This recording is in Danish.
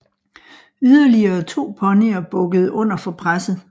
Yderligere to ponyer bukkede under for presset